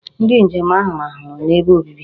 Ndi njem ahu rahuru n'ebe obibi